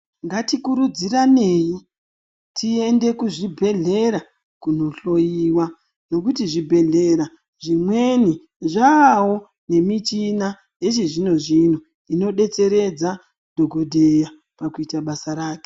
Ngatikurudziranei tiende kuzvibhedhlera kundohloiwa ngekuti zvibhedhlera zvimweni zvavawo nemichina yechizvino zvino inodetseredza dhokodheya pakuita basa rake.